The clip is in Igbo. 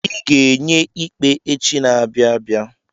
Ị ga-enye ikpe echi n'abia abịa.